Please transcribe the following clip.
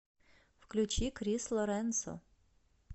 включи крис лоренсо